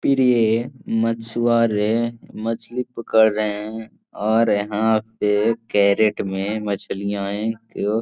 प्रिये मछुवारे मछली पकड़ रहे हैं और यहाँ पे कैरेट में मछिलायें को --